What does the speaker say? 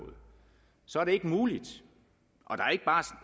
så er det ikke muligt